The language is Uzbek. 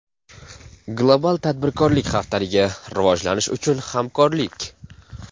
Global Tadbirkorlik Haftaligi – Rivojlanish uchun Hamkorlik!